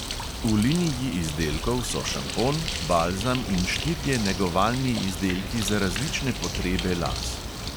V liniji izdelkov so šampon, balzam in štirje negovalni izdelki za različne potrebe las.